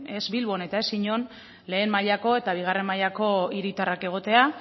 ez bilbon eta ez inon lehen mailako eta bigarren mailako hiritarrak egotea